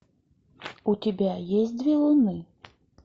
у тебя есть две луны